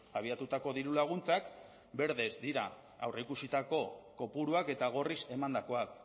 abiatutako dirulaguntzak berdez dira aurreikusitako kopuruak eta gorriz emandakoak